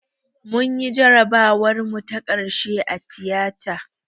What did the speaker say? Munyi jarabawar mu ta ƙarshe a tiyata